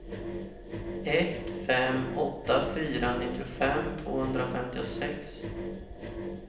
ett fem åtta fyra nittiofem tvåhundrafemtiosex